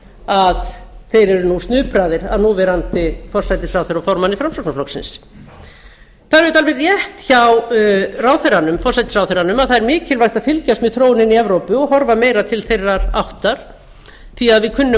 þeir eru nú snupraðir af núverandi forsætisráðherra og formanni framsóknarflokksins það er alveg rétt hjá forsætisráðherranum að það er mikilvægt að fylgjast með þróuninni í evrópu og horfa meira til þeirrar áttar því að við kunnum að